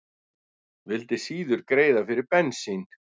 Vildi síður greiða fyrir bensín